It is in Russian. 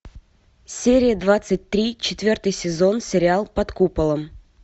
серия двадцать три четвертый сезон сериал под куполом